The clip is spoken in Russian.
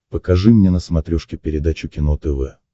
покажи мне на смотрешке передачу кино тв